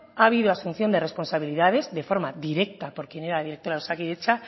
ha ascensión de responsabilidades de forma directa por quien era la directora de osakidetza